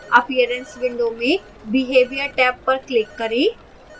appearance window में behavior tab पर click करें